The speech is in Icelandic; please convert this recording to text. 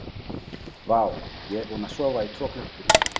Vá, ég er búinn að sofa í tvo klukkutíma.